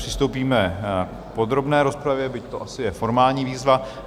Přistoupíme k podrobné rozpravě, byť to asi je formální výzva.